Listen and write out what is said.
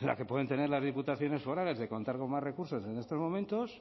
la que pueden tener las diputaciones forales de contar con más recursos en estos momentos